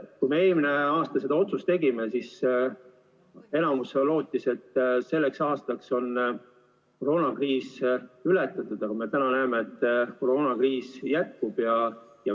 Kui me eelmisel aastal selle otsuse tegime, siis enamik lootis, et selleks aastaks on koroonakriis ületatud, aga nagu me nüüd näeme, koroonakriis jätkub.